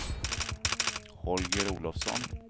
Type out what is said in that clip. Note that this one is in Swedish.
Holger Olofsson